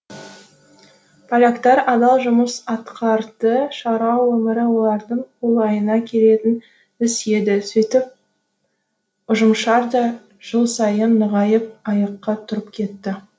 поляктар адал жұмыс атқарды шаруа өмірі олардың қолайына келетін іс еді сөйтіп ұжымшар да жыл сайын нығайып аяққа тұрып кетті